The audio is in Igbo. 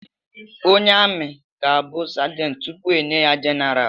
Onye ami ga-abụ sergent tupu enye ya general